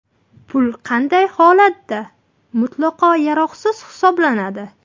Pul qanday holatda mutlaqo yaroqsiz hisoblanadi?